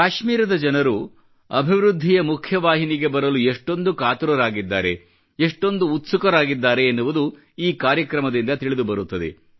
ಕಾಶ್ಮೀರದ ಜನರು ಅಭಿವೃದ್ಧಿಯ ಮುಖ್ಯವಾಹಿನಿಗೆ ಬರಲು ಎಷ್ಟೊಂದು ಕಾತರರಾಗಿದ್ದಾರೆ ಎಷ್ಟೊಂದು ಉತ್ಸುಕರಾಗಿದ್ದಾರೆ ಎನ್ನುವುದು ಈ ಕಾರ್ಯಕ್ರಮದಿಂದ ತಿಳಿದುಬರುತ್ತದೆ